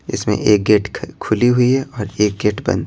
इसमें एक गेट खुली हुई है और एक गेट बंद--